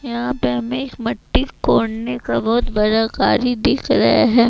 यहां पे हमें एक मट्टी कोड़ने बहोत बड़ा गाड़ी दिख रहे है।